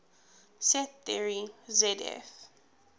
set theory zf